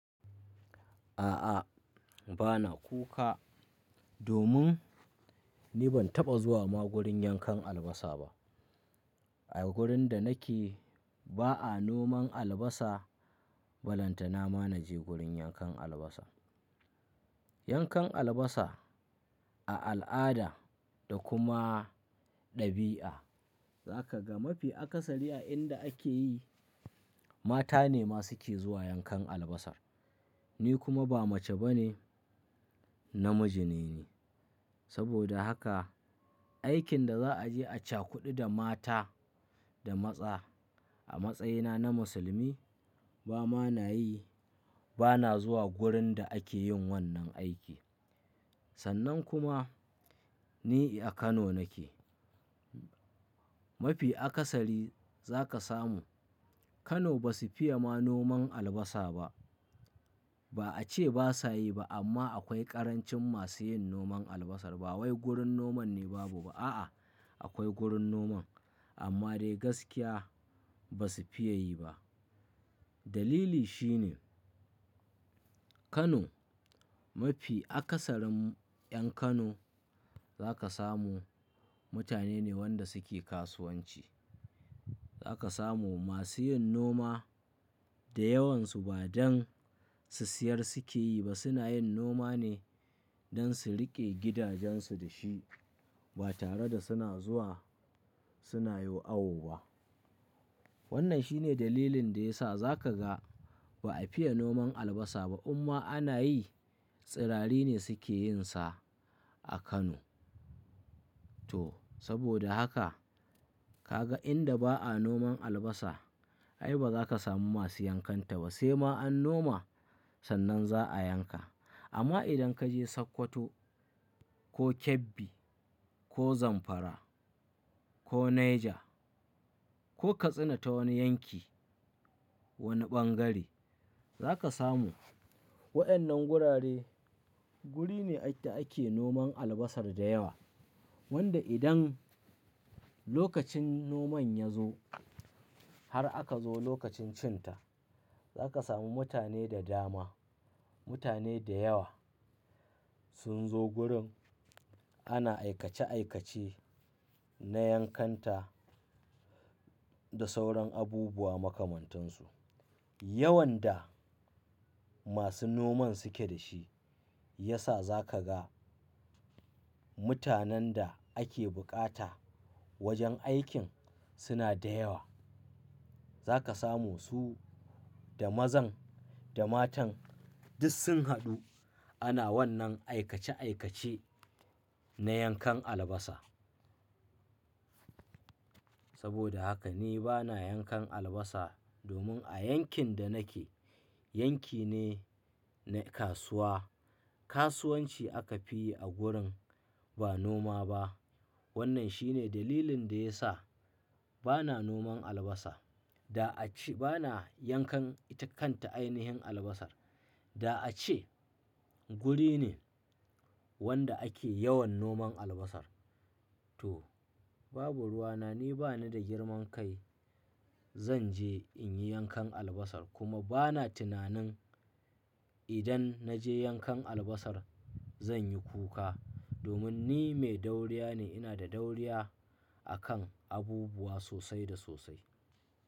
A'a, bana kuka domin ni ban taɓa zuwa ma gurin yankan albasa ba. A wurin da nake ba a noman albasa, ballantana ma na je gurin yankan albasa. Yankan albasa a al'ada da kuma ɗabi'a, za ka ga mafi akasari a inda ake yi, mata ne masu ke zuwa yankan albasa. Ni kuma ba mace ba ne, namiji ne ni. Saboda haka, aikin da za a je a cakudu da mata da maza a matsayina na musulmi ba ma na yi, bana zuwa wurin da ake yin wannan aiki. Sannan kuma ni a Kano nake. Mafi akasari za ka samu Kano ba su fiye ma noman albasa ba. Ba a ce ba sa yi ba amma akwai ƙarancin masu yin noman albasa. Ba wai gurin noman ne babu ba a'a, akwai gurin noman amma dai gaskiya ba su fiye yi ba. Dalili shi ne Kano mafi akasarin 'yan Kano za ka samu mutane ne wanda suke kasuwanci. Za ka samu masu yin noma da yawansu ba don su siyar suke yi ba, suna yin noma ne don su riƙe gidajensu da shi ba tare da suna zuwa suna yin awu ba. Wannan shine dalilin da ya sa za ka ga ba a fiye noman albasa ba. Amma ana yi, tsirari ne suke yin sa a Kano. To saboda haka ka ga inda ba a noman albasa ai ba za ka samu masu yankanta ba. Sai ma an noma, sannan za a yanka. Amma idan ka je Sokoto ko Kebbi ko Zamfara ko Niger ko katsina ta wani yanki, wani ɓangare, za ka samu waɗannan gurare guri ne inda ake noman albasa da yawa. Wanda idan lokacin noman ya zo har aka zo lokacin cinta, za ka samu mutane da dama, mutane da yawa sun zo gurin ana aikace aikace na yankanta da sauran abubuwa makamantansu. Yawan da masu noman suke da shi ya sa za ka ga mutanen da ake bukata wajen aikin suna da yawa. Za ka samu su da mazan da matan duk sun haɗu ana wannan aikace aikace na yankan albasa. Saboda haka ni bana yankan albasa domin a yankin da nake yanki ne na kasuwa. Kasuwanci aka fi yi a gurin ba noma ba. Wannan shi ne dalilin da ya sa bana noman albasa. Da a ce bana yankan ita kanta ainihin albasa. Da a ce guri ne wanda ake yawan noman albasa. To babu ruwa na. Ni bani da girman kai zan je in yi yankan albasa kuma bana tunanin idan na je yankan albasa zan yi kuka. Domin ni mai dauriya ne, ina da dauriya a kan abubuwa sosai da sosai.